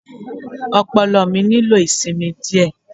Ọpọlọ mi nílò ìsinmi díẹ̀.